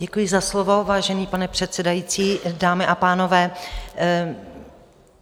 Děkuji za slovo, vážený pane předsedající, dámy a pánové.